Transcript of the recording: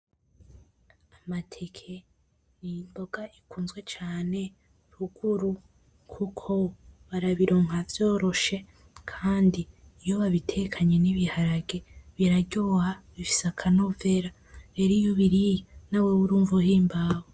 Amateke ni imboga ikunzwe cane ruguru kuko barabironka vyoroshe kandi iyo babitekanye n'ibiharage biraryoha bifise akanovera, rero iyo ubiriye na wewe urumva uhimbawe .